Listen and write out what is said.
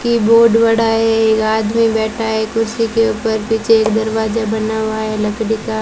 keyboard बड़ा है एक आदमी बैठा है कुर्सी के ऊपर पीछे दरवाजा बना हुआ है लकड़ी का--